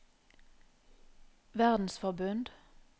verdensforbund